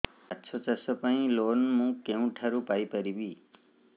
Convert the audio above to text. ମାଛ ଚାଷ ପାଇଁ ଲୋନ୍ ମୁଁ କେଉଁଠାରୁ ପାଇପାରିବି